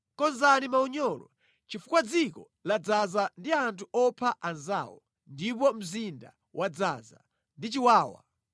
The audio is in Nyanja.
“Konzani maunyolo, chifukwa dziko ladzaza ndi anthu opha anzawo ndipo mzinda wadzaza ndi chiwawa.